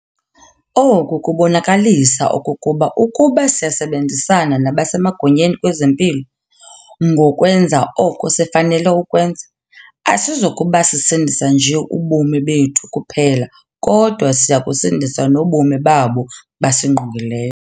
Oku kubonakalisa okokuba ukuba siyasebenzisana nabasemagunyeni kwezempilo ngokwenza oko sifanele ukwenza, asizokuba sisindisa nje ubomi bethu kuphela kodwa siya kusindisa nobomi babo basingqongileyo.